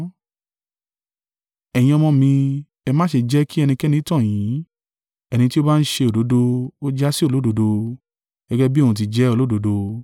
Ẹ̀yin ọmọ mi, ẹ má ṣe jẹ́ kí ẹnikẹ́ni tàn yín, ẹni tí ó bá ń ṣe òdodo, ó jásí olódodo, gẹ́gẹ́ bí òun tí jẹ olódodo.